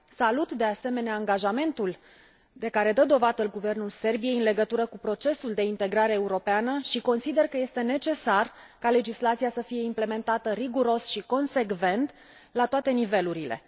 Salut, de asemenea, angajamentul de care dă dovadă Guvernul Serbiei în legătură cu procesul de integrare europeană și consider că este necesar ca legislația să fie implementată riguros și consecvent la toate nivelurile.